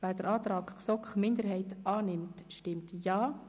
Wer den Antrag GSoK-Minderheit II/Mühlheim annimmt stimmt Ja,